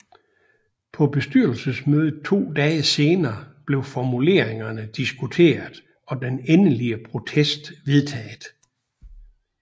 På bestyrelsesmødet to dage senere blev formuleringerne diskuteret og den endelige protest vedtaget